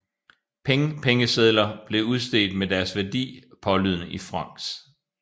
Peng Pengesedler blev udstedt med deres værdi pålydende i francs